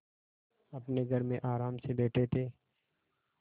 अपने घर में आराम से बैठे थे